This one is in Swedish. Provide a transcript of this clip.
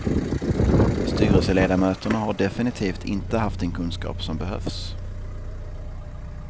Styrelseledamöterna har definitivt inte haft den kunskap som behövs.